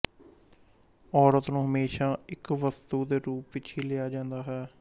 ਔਰਤ ਨੂੰ ਹਮੇਸ਼ਾ ਇੱਕ ਵਸਤੂ ਦੇ ਰੂਪ ਵਿੱਚ ਹੀ ਲਿਆ ਜਾਂਦਾ ਹੈ